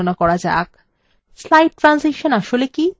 slide transition আসলে কি